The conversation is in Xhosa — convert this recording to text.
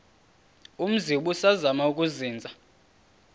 umzi ubusazema ukuzinza